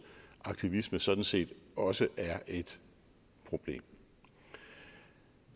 aktivisme sådan set også er et problem